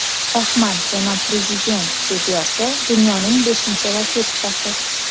Rahmat, janob prezident!” deb yozdi dunyoning beshinchi raketkasi.